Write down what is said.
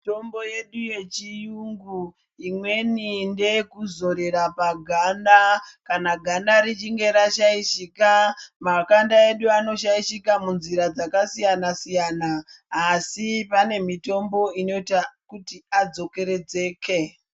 Mitombo yedu yechiyungu imweni ndeyekuzorera paganda kana ganda richinge rashaishika. Makanda edu anoshaishika munzira dzakasiyana-siyana asi pane mitombo inoita kiti adzokeredzeke.